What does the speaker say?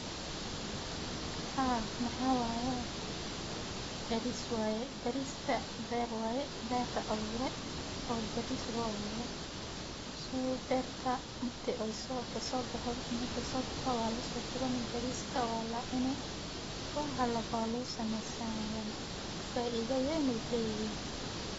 Haa waxa waye baris waye bariska beer waye beer laabure oo baris lo abure waye waa lacuni faida weyn ayu leyahay cafimadka ayu uficanyahay wana lacuni karaa bariska.